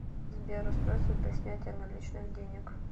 сбер устройство для снятия наличных денег